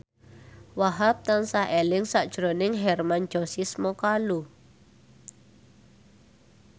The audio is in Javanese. Wahhab tansah eling sakjroning Hermann Josis Mokalu